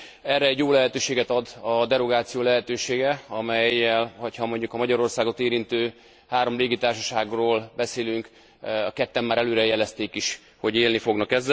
Erre jó lehetőséget ad a derogáció lehetősége, amellyel ha mondjuk a Magyarországot érintő három légitársaságról beszélünk már ketten is előre jelezték, hogy élni fognak.